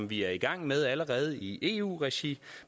vi er i gang med allerede i eu regi